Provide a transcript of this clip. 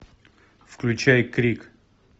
включай крик